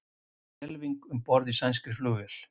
Skelfing um borð í sænskri flugvél